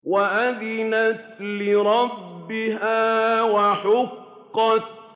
وَأَذِنَتْ لِرَبِّهَا وَحُقَّتْ